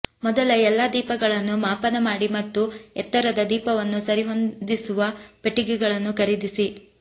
ಮೊದಲ ಎಲ್ಲಾ ದೀಪಗಳನ್ನು ಮಾಪನ ಮಾಡಿ ಮತ್ತು ಎತ್ತರದ ದೀಪವನ್ನು ಸರಿಹೊಂದಿಸುವ ಪೆಟ್ಟಿಗೆಗಳನ್ನು ಖರೀದಿಸಿ